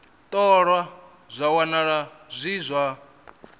ṱolwa zwa wanala zwi zwa